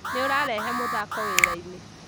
Nĩ ũrarehe mũthako wĩrainĩ